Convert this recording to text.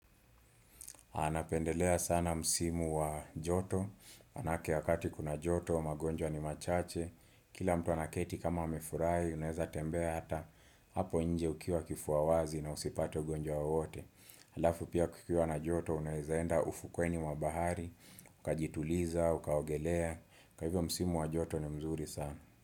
Napendelea sana msimu wa joto maanake wakati kuna joto, magonjwa ni machache Kila mtu anaketi kama amefurahi, unaeza tembea hata Hapo nje ukiwa kifua wazi na usipate ugonjwa wowote Halafu pia kukiwa na joto, unaeza enda ufukweni mwa bahari Ukajituliza, ukaogelea kwa hivyo msimu wa joto ni mzuri sana.